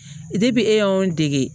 e y'anw dege